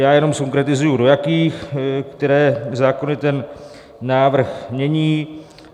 Já jenom zkonkretizuji do jakých, které zákony ten návrh mění.